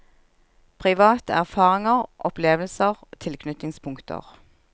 Private erfaringer, opplevelser, tilknytningspunkter.